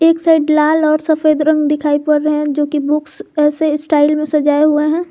Side लाल और सफेद रंग दिखाई पड़ रहे हैं जो की बुक्स ऐसे स्टाइल में सजाए हुए हैं।